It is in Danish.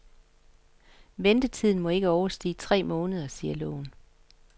Ventetiden må ikke overstige tre måneder, siger loven.